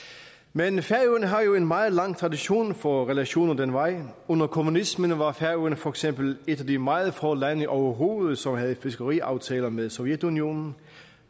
men færøerne har jo en meget lang tradition for relationer den vej under kommunismen var færøerne for eksempel et af de meget få lande overhovedet som havde fiskeriaftaler med sovjetunionen